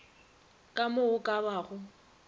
ka mo go ka bago